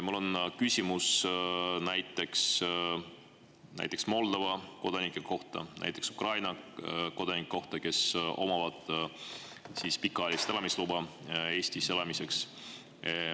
Mul on küsimus näiteks Moldova kodanike kohta, näiteks Ukraina kodanike kohta, kes omavad pikaajalist elamisluba Eestis elamiseks.